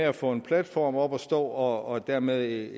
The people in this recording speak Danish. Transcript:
at få en platform op at stå og dermed